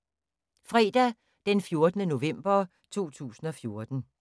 Fredag d. 14. november 2014